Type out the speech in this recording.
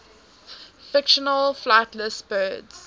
fictional flightless birds